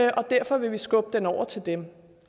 og derfor vil vi skubbe den over til dem